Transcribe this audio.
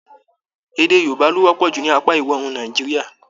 Èdè Yorùbá lo wọpọ jù ní apá ìwọ̀òrùn Nàìjíríà.